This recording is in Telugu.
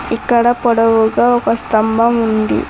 ఇక్కడ పొడవుగా ఒక స్తంభం ఉంది.